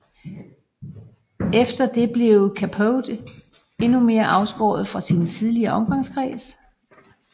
Efter det blev Capote endnu mere afskåret fra sin tidligere omgangskreds